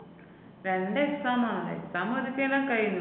രണ്ട് exam ആണ്. exam ആദ്യത്തെല്ലാം കഴിഞ്ഞു.